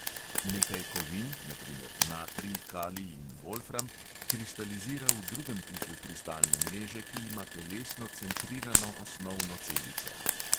Nekaj kovin, na primer natrij, kalij in volfram, kristalizira v drugem tipu kristalne mreže, ki ima telesno centrirano osnovno celico.